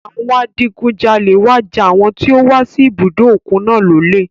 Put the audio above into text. Àwọn adigunjalẹ̀ wá ja àwọn tí ó wà sí ibùdó òkun náà lólè.